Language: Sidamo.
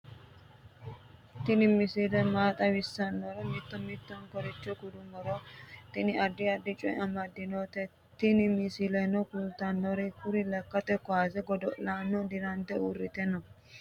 tini misile maa xawissannoro mito mittonkaricho kulummoro tini addi addicoy amaddinote tini misileno kultannori kuri lekkate kuwase godo'lano dirante uurrite no